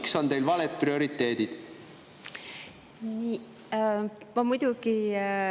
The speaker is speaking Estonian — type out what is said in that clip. Miks on teil valed prioriteedid?